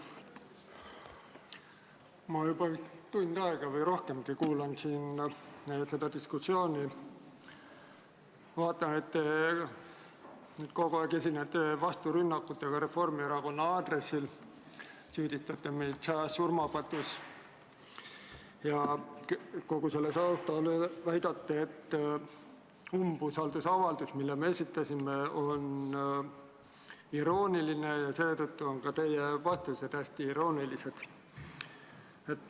Ma juba tund aega või rohkemgi kuulan siin seda diskussiooni ja vaatan, et kogu aeg te esinete vasturünnakutega Reformierakonna aadressil, süüdistate meid sajas surmapatus ja kõige selle taustal väidate, et umbusaldusavaldus, mille me esitasime, on irooniline ja seetõttu on ka teie vastused hästi iroonilised.